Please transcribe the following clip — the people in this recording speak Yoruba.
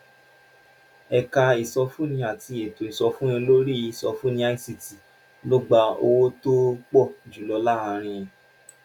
ẹ̀ka ìsọfúnni àti ètò ìsọfúnni lórí ìsọfúnni (ict) ló gba owó tó pọ̀ jù lọ láàárín